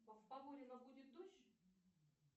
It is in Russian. в поворино будет дождь